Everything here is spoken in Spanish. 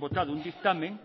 votado un dictamen